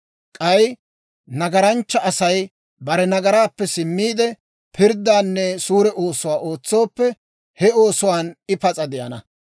K'ay nagaranchcha Asay bare nagaraappe simmiide, pirddaanne suure oosuwaa ootsooppe, he oosuwaan I pas'a de'ana.